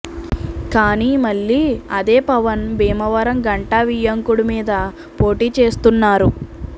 కానీ మళ్లీ అదే పవన్ భీమవరంలో గంటా వియ్యంకుడు మీద పోటీ చేస్తున్నారు